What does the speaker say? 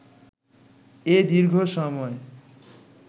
এ দীর্ঘ সময়ে